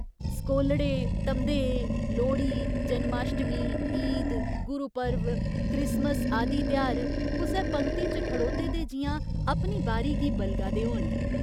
सकोलड़े, धमदेऽ, लोह्ड़ी, जन्माश्टमी, ईद, गुरु पर्व, क्रिसमस आदि तेहार कुसै पंगती च खड़ौते दे जि'यां अपनी बारी गी बलगा दे होन।